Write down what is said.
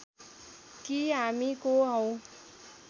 कि हामी को हौं